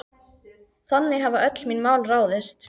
Þannig hafa öll mín mál ráðist.